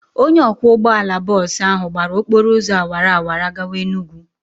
Onye ọkwọ ụgbọala bọọsụ ahụ gbara okpọrọ ụzọ awara awara gawa Enugwu.